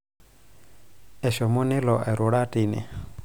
eshomo nelo arura tine